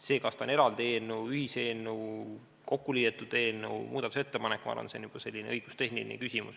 See, kas see on eraldi eelnõu, ühiseelnõu, kokkuliidetud eelnõu, muudatusettepanek – ma arvan, et see on juba õigustehniline küsimus.